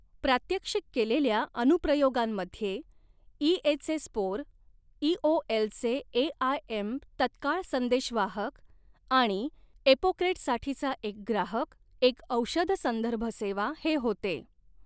प्रात्यक्षिक केलेल्या अनुप्रयोगांमध्ये इएचे स्पोअर, एओएलचे एआयएम तत्काळ संदेशवाहक आणि एपोक्रेट्ससाठीचा एक ग्राहक, एक औषध संदर्भ सेवा हे होते.